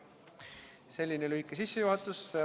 Selline lühike sissejuhatus.